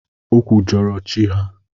Ọ kwujọrọ chi ha.